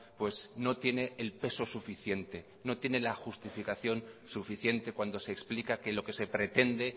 pues no tiene el peso suficiente no tiene la justificación suficiente cuando se explica que lo que se pretende